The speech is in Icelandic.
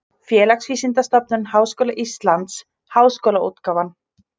Félagsvísindastofnun Háskóla Íslands: Háskólaútgáfan.